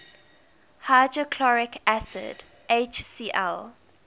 hydrochloric acid hcl